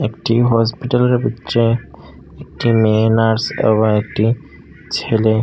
একটি হসপিটালের ভিতরে একটি মেয়ে নার্স এবং একটি ছেলে।